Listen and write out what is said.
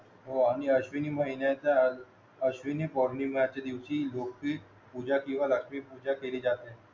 हो आणि अश्विनी महिनाचा अश्विनी पौर्णिमेचा दिवशी लोपीत पूजा पिढा दाखवीत पूजा केली जाते